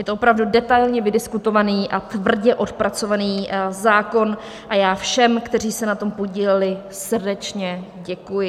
Je to opravdu detailně vydiskutovaný a tvrdě odpracovaný zákon a já všem, kteří se na tom podíleli, srdečně děkuji.